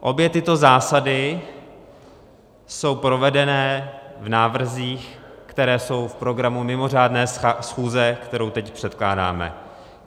Obě tyto zásady jsou provedené v návrzích, které jsou v programu mimořádné schůze, kterou teď předkládáme.